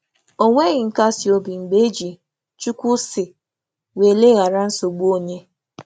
O nweghị nkasi obi mgbe e ji "Chukwu sị" wee leghara nsogbu onye.